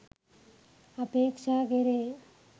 අපේක්ෂා කෙරේ.